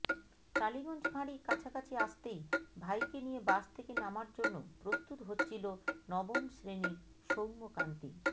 টালিগঞ্জ ফাঁড়ি কাছাকাছি আসতেই ভাইকে নিয়ে বাস থেকে নামার জন্য প্রস্তুত হচ্ছিল নবম শ্রেণির সৌম্যকান্তি